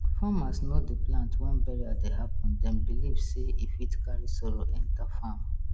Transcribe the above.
farmers no dey plant when burial dey happen dem believe sey e fit carry sorrow enter farm